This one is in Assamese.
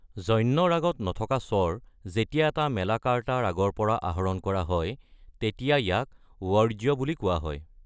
জন্য ৰাগত নথকা স্বৰ, যেতিয়া এটা মেলাকাৰ্তা ৰাগৰ পৰা আহৰণ কৰা হয় তেতিয়া ইয়াক ৱৰ্জ্য বুলি কোৱা হয়।